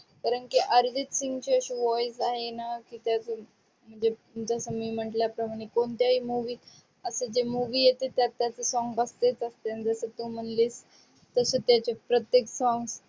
कारण की अर्जित सिंगचे असे voice इनो आणि